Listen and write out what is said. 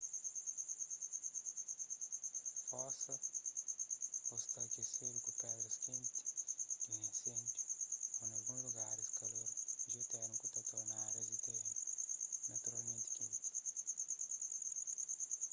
fosa ô sta akesedu ku pedras kenti di un inséndiu ô nalguns lugaris kalor jiotérmiku ta torna árias di terénu naturalmenti kenti